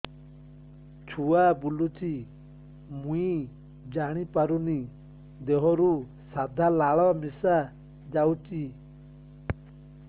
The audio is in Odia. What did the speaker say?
ଛୁଆ ବୁଲୁଚି ମୁଇ ଜାଣିପାରୁନି ଦେହରୁ ସାଧା ଲାଳ ମିଶା ଯାଉଚି